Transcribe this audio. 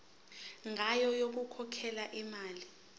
ngayo yokukhokhela imali